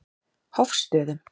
Hofstöðum